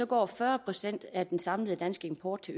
går fyrre procent af den samlede danske import til